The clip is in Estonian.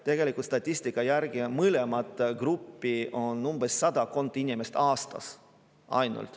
Tegelikult statistika järgi on mõlemat gruppi ainult sadakond inimest aastas.